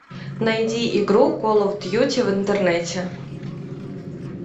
найди игру кол оф дьюти в интернете